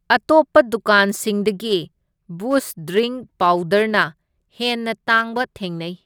ꯑꯇꯣꯞꯄ ꯗꯨꯀꯥꯟꯁꯤꯡꯗꯒꯤ ꯕꯨꯁꯠ ꯗ꯭ꯔꯤꯡꯛ ꯄꯥꯎꯗꯔꯅ ꯍꯦꯟꯅ ꯇꯥꯡꯕ ꯊꯦꯡꯅꯩ꯫